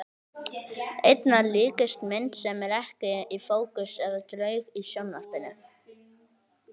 Einna líkast mynd sem er ekki í fókus eða draug í sjónvarpi.